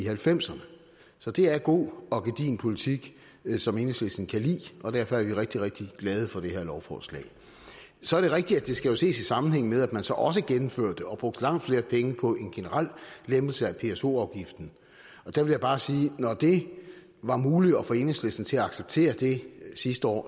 halvfemserne så det er god og gedigen politik som enhedslisten kan lide og derfor er vi rigtig rigtig glade for det her lovforslag så er det rigtigt at det jo skal ses i sammenhæng med at man så også gennemførte og brugte langt flere penge på en generel lempelse af pso afgiften der vil jeg bare sige at når det var muligt at få enhedslisten til at acceptere det sidste år